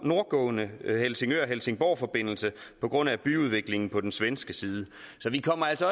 nordgående helsingør helsingborg forbindelse på grund af byudviklingen på den svenske side så vi kommer altså